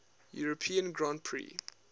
european grand prix